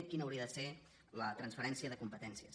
quina hauria de ser la transferència de competèn cies